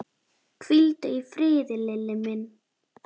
Hvíldu í friði, Lilli minn.